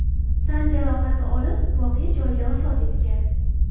tan jarohati olib, voqea joyida vafot etgan.